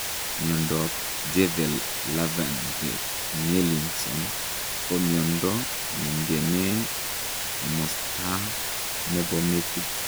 Miondoop Jervell Lange Nielsen ko miondoo ningemee komastaa nepoo metiit